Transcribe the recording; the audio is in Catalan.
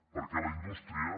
perquè la indústria